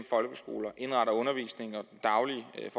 folkeskoler indretter undervisningen og er